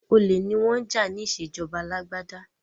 Olè ni wọ́n jà ní ìṣèjọba alágbádá.